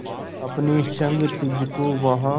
अपने संग तुझको वहां